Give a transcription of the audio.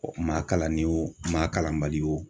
Ɔ maa kalannen wo maa kalanbali wo